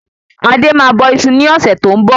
Adé máa ń bọ isu ní ọ̀sẹ̀ tó ń bọ̀